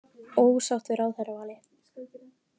Ósátt við ráðherravalið